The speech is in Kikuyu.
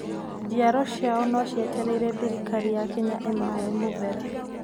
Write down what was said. Njiaro ciao no cietereire thirikari ya Kenya imahoe muvera